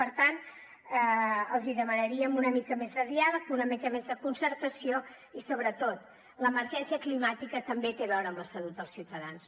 per tant els demanaríem una mica més de diàleg una mica més de concertació i sobretot l’emergència climàtica també té a veure amb la salut dels ciutadans